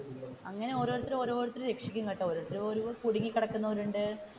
അങ്ങനെ ഓരോരുത്തർ ഓരോരുത്തർ രക്ഷിക്കും കേട്ടോ ഓരോരുത്തർ ഓരോ കുടുങ്ങി കിടക്കുന്നവർ ഉണ്ട്.